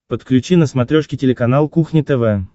подключи на смотрешке телеканал кухня тв